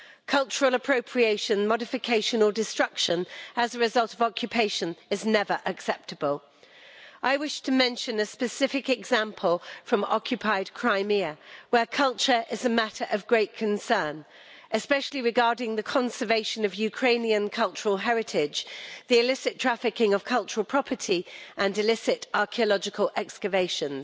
Cultural appropriation, modification or destruction as a result of occupation is never acceptable. I wish to mention a specific example from occupied Crimea, where culture is a matter of great concern, especially regarding the conservation of Ukrainian cultural heritage, the illicit trafficking of cultural property and illicit archaeological excavations.